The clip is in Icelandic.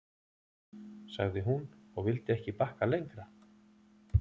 sagði hún, og vildi ekki bakka lengra.